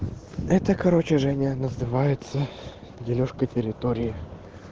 это короче женя называется делёжка территории